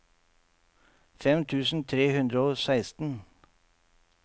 fem tusen tre hundre og seksten